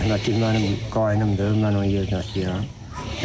Rəhmətlik mənim qaynımdır, mən onun yerdəkiyam.